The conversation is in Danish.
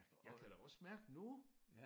Jeg kan da også mærke nu